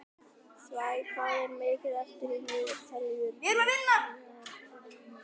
Svea, hvað er mikið eftir af niðurteljaranum?